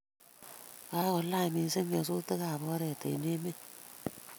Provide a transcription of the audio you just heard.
kakolany missing nyasutikab oret eng emet